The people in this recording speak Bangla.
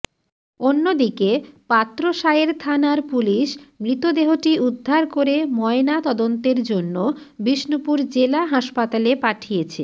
অন্যদিকে পাত্রসায়ের থানার পুলিশ মৃতদেহটি উদ্ধার করে ময়না তদন্তের জন্য বিষ্ণুপুর জেলা হাসপাতালে পাঠিয়েছে